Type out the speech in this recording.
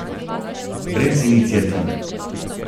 Brez iniciativ.